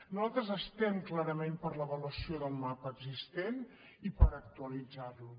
nosaltres estem clarament per l’avaluació del mapa existent i per actualitzar lo